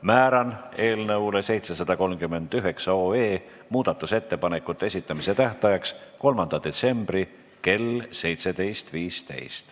Määran eelnõu 739 muudatusettepanekute esitamise tähtajaks 3. detsembri kell 17.15.